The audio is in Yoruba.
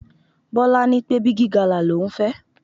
Bọ́lá ní pé Bigi gala l'ohun fẹ́.